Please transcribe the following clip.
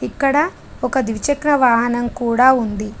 ఇక్కడ ఒక ద్విచక్ర వాహనం కూడా ఉంది.